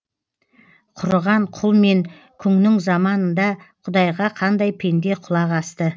құрыған құл мен күңнің заманында құдайға қандай пенде құлақ асты